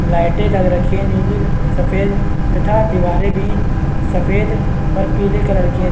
लाइटे लग रखी है नीली सफ़ेद तथा दीवारे भी सफ़ेद और पीले कलर की है।